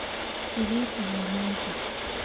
sidee tahay maanta?